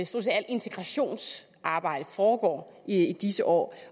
set alt integrationsarbejdet foregår i disse år